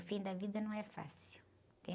O fim da vida não é fácil, entende?